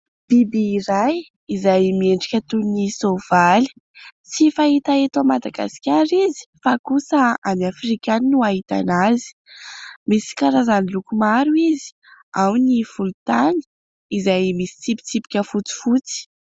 Biby iray izay miendrika toy ny soavaly. Tsy fahita eto Madagasikara izy fa kosa any Afrika any no ahitana azy, misy karazany loko maro izy ao ny volontany izay misy tsipitsipika fotsifotsy.